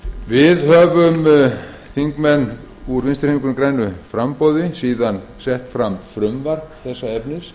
við höfum þingmenn úr vinstri hreyfingunni grænu framboði síðan sett fram frumvarp þessa efnis